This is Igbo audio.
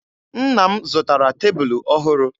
Nna m zụtara tebulu ọhụrụ.